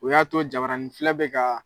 O y'a to jabaraninfilɛ bɛ ka.